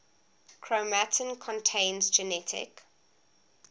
chromatin contains genetic